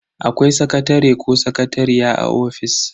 Akwai sakatare ko sakatariya a office.